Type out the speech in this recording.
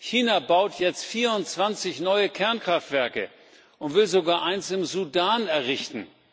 China baut jetzt 24 neue Kernkraftwerke und will sogar eines im Sudan errichten.